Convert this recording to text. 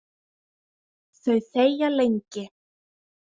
Þau þegja lengi.